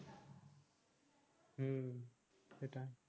হম সেটাই